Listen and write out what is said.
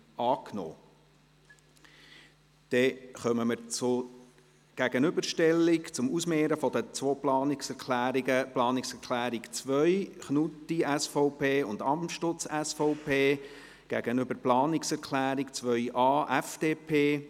Dann kommen wir zur Gegenüberstellung, zum Ausmehren der Planungserklärung 2, Knutti/SVP und Amstutz/SVP, und der Planungserklärung 2.a, FDP.